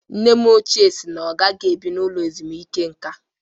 Nne nne m si na ọ gaghị ebi n'ụlọ ezumike nka